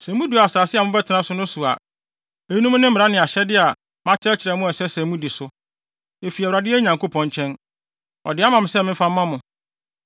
Sɛ mudu asase a mobɛtena so no so a, eyinom ne mmara ne ahyɛde a makyerɛkyerɛ mo a ɛsɛ sɛ mudi so. Efi Awurade, yɛn Nyankopɔn, nkyɛn. Ɔde ama me se memfa mma mo.